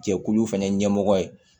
Jɛkulu fɛnɛ ɲɛmɔgɔ ye